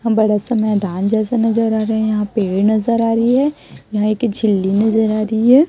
हम बड़े सा मैदान जैसे नज़र आ रहे है यहाँ पेड़ नज़र आ रही है यहाँ एक झिल्ली नज़र आ रही है।